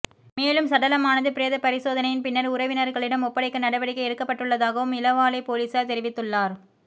மேலும் சடலமானது பிரேத பரிசோதனையின் பின்னர் உறவினர்களிடம் ஒப்படைக்க நடவடிக்கை எடுக்கப்பட்டுள்ளதாகவும் இளவாலை பொலிஸார் தெரிவித்துள்ளார்